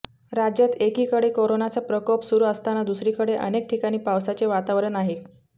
राज्यात एकीकडे कोरोनाचा प्रकोप सुरु असताना दुसरीकडे अनेक ठिकाणी पावसाचे वातावरण आहे